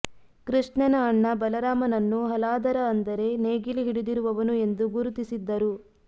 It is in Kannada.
ಕೃಷ್ಣನ ಅಣ್ಣ ಬಲರಾಮನನ್ನು ಹಲಾಧರ ಅಂದರೆ ನೇಗಿಲು ಹಿಡಿದಿರುವವನು ಎಂದು ಗುರುತಿಸಿದ್ದರು